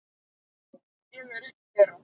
Ég er einn þeirra.